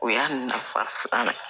O y'a nafa filanan ye